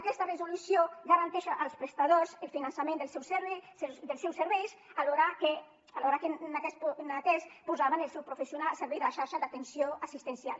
aquesta resolució garanteix als prestadors el finançament dels seus serveis alhora que aquests posaven els seus professionals al servei de la xarxa d’atenció assistencial